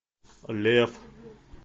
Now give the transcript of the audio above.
лев